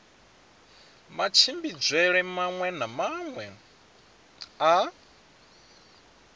matshimbidzelwe maṅwe na maṅwe a